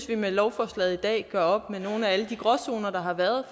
vi med lovforslaget i dag gør op med nogle af alle de gråzoner der har været